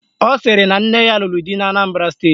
Ọ sịrị na nne ya lụrụ di n'Anambara steeti